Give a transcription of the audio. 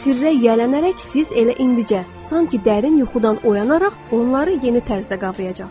Sirrə yiyələnərək siz elə indicə, sanki dərin yuxudan oyanaraq onları yeni tərzdə qavrayacaqsınız.